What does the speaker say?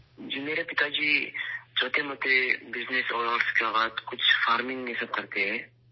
جی ، میرے والد چھوٹے موٹے بزنس اور اس کے بعد فارمنگ میں سب کرتے ہیں